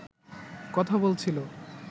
কথা বলছিল